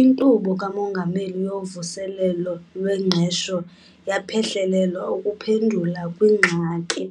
INkqubo kaMongameli yoVuselelo lweNgqesho yaphehlelelwa ukuphendula kwingxaki